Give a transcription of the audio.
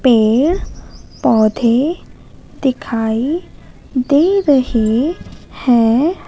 पेड़ पौधे दिखाई दे रहे हैं।